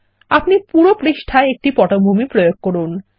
আপনি পুরো পাতায় একটি পটভূমি প্রয়োগ করুন